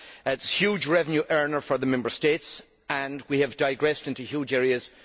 It is a huge revenue earner for the Member States and we have digressed into huge areas.